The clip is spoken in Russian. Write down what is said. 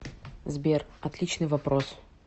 сбер отличный вопрос